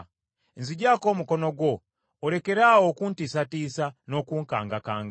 Nzigyako omukono gwo, olekere awo okuntiisatiisa n’okunkangakanga.